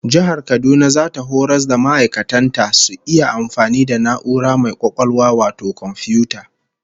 Jihar Kaduna zata horas da ma'aikatan ta su iya amfani da na'ura mai kwakwalwa wato komfiyuta